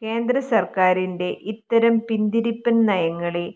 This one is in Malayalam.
കേന്ദ്രസർക്കാരിന്റെ ഇത്തരം പിന്തിരിപ്പൻ നയങ്ങളെ